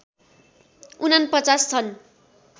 ४९ छन्